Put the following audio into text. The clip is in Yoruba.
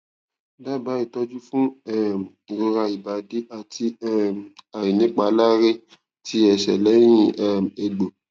daba itoju fun um irora ibadi ati um ainipalare ti ese lehin um egbo